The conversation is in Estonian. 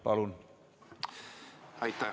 Palun!